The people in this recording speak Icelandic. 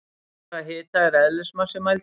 Við hvaða hita er eðlismassi mældur?